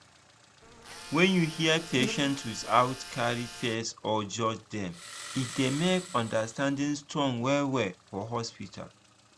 when you hear patients without carry face or judge dem e dey make understanding strong well well for hospital.